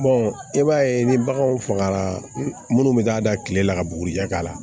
i b'a ye ni baganw fagara munnu bɛ k'a da kile la ka bugurijɛ k'a la